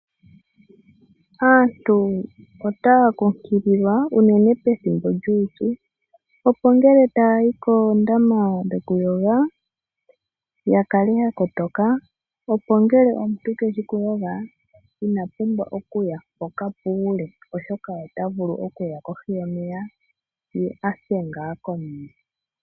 Aantu ota kukilikwa unene pethimbo lyupyu opo ngele tayayi kondama dhokuyoga yakale yakotoka opo ngele omuntu keshi okuyoga inapumbwa okuya mpoka puule oshoka ota vulu okuya kohi yomeya ye ase nga komeya.